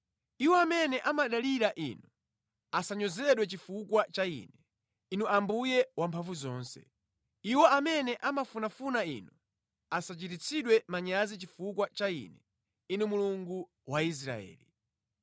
Iwo amene amadalira Inu asanyozedwe chifukwa cha ine, Inu Ambuye Wamphamvuzonse. Iwo amene amafunafuna Inu asachititsidwe manyazi chifukwa cha ine, Inu Mulungu wa Israeli.